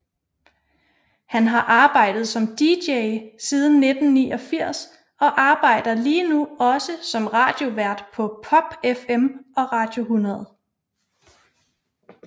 Han har arbejdet som dj siden 1989 og arbejder lige nu også som radiovært på PopFM og Radio 100